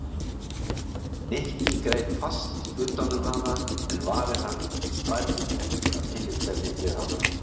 Nikki greip fast utan um hana en varir hans bærðust ekki af tillitsemi við hana.